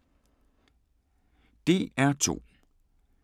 DR2